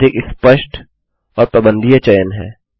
यह अधिक स्पष्ट और प्रबन्धनीय चयन है